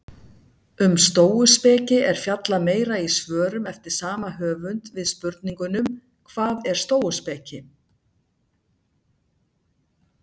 Um stóuspeki er fjallað meira í svörum eftir sama höfund við spurningunum Hvað er stóuspeki?